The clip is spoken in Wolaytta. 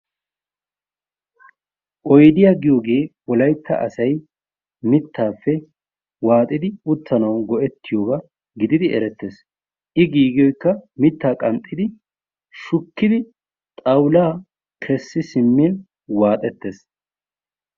Oydiya giyogee wolaytta asay mittaappe waaxidi uttanawu go'ettiyoba gididi erettees. I giigiyoykka mittaa qanxxidi, shukkidi xawulaa kessi simmin waaxettees.